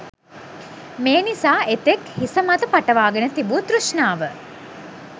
මේ නිසා එතෙක් හිසමත පටවාගෙන තිබූ තෘෂ්ණාව